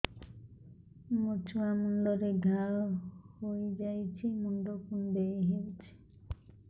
ମୋ ଛୁଆ ମୁଣ୍ଡରେ ଘାଆ ହୋଇଯାଇଛି ମୁଣ୍ଡ କୁଣ୍ଡେଇ ହେଉଛି